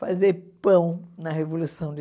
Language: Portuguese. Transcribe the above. fazer pão na Revolução de